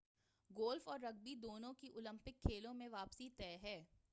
golf اور rugby دونوں کی اولمپک کھیلوں میں واپسی طے ہے